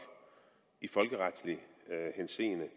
i folkeretlig henseende